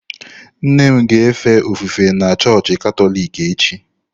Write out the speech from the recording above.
Nne m ga-efe ofufe na chọọchị Katọlik echi.